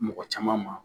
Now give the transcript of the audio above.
Mɔgɔ caman ma